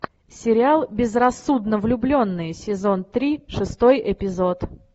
сериал безрассудно влюбленные сезон три шестой эпизод